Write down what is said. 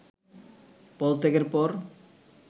পদত্যাগের পর